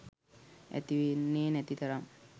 ඇතිවෙන්නේ නැති තරම්.